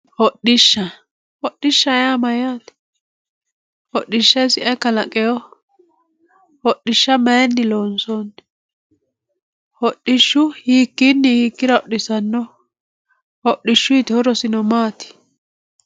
Hodhisha, hodhishaho yaa yaa mayatte, hodhisha isi ayi kalaqewoho, hodhisha mayini loonsonni, hodhishu hiikini hiikkira hodhisanoho, hodhishuyitino horosi maati